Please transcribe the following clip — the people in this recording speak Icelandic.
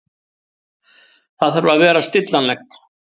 Það þarf að vera stillanlegt.